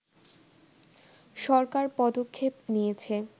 সরকার পদক্ষেপ নিয়েছে